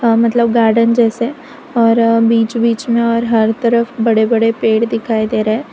हा मतलब गार्डन जैसे और बीच बीच में और हर तरफ बड़े बड़े पेड़ दिखाई दे रहे --